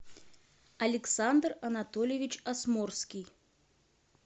александр анатольевич асмурский